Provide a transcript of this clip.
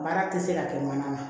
Baara tɛ se ka kɛ mana ma